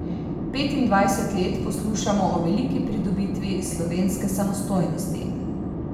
Petindvajset let poslušamo o veliki pridobitvi slovenske samostojnosti.